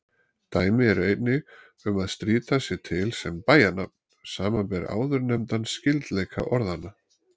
Dæmi eru einnig um að Strýta sé til sem bæjarnafn, samanber áðurnefndan skyldleika orðanna.